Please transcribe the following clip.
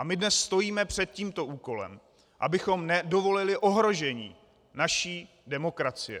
A my dnes stojíme před tímto úkolem, abychom nedovolili ohrožení naší demokracie.